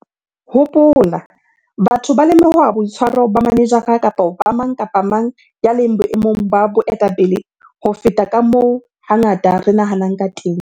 Hopola, batho ba lemoha boitshwaro ba manejara kapa ba mang kapa mang ya leng boemong ba boetapele ho feta ka moo hangata re nahanang ka teng.